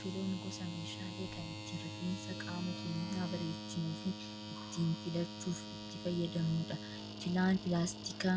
Filoon gosa meeshaalee kan ittiin rifeensa qaama keenyaa bareechinuu fi ittiin filachuuf itti fayyadamnudha. Filaan pilaastika